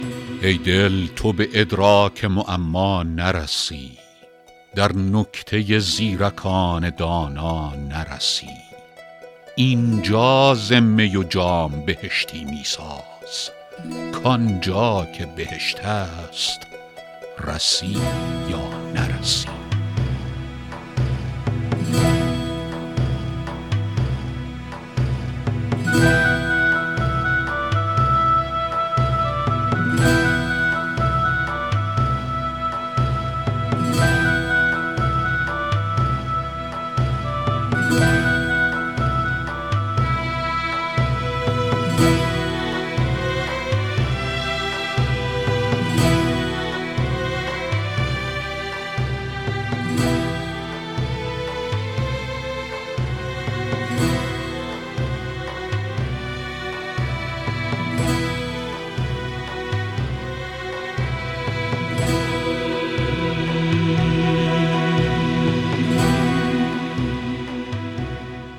ای دل تو به ادراک معما نرسی در نکته زیرکان دانا نرسی اینجا ز می و جام بهشتی می ساز کآن جا که بهشت است رسی یا نرسی